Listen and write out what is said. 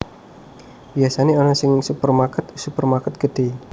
Biyasane ana ing supermarket supermarket gedhe